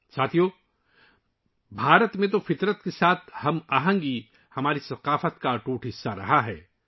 ساتھیو، بھارت میں فطرت کے ساتھ ہم آہنگی ہماری ثقافت کا ایک لازمی حصہ رہی ہے